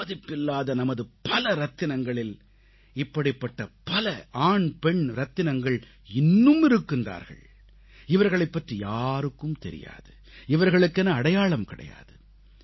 விலைமதிப்பில்லாத நமது பல ரத்தினங்களில் இப்படிப்பட பல ஆண் பெண் ரத்தினங்கள் இன்னும் இருக்கின்றார்கள் இவர்களைப் பற்றி யாருக்கும் தெரியாது இவர்களுக்கென அடையாளம் கிடையாது